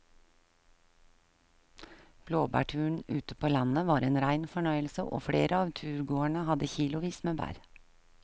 Blåbærturen ute på landet var en rein fornøyelse og flere av turgåerene hadde kilosvis med bær.